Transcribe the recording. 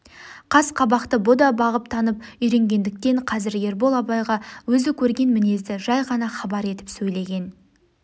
қас-қабақты бұ да бағып танып үйренгендіктен қазір ербол абайға өзі көрген мінезді жай ғана хабар етіп сөйлеген